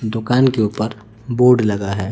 दुकान के ऊपर बोर्ड लगा है।